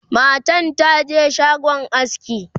matan taje shagon aski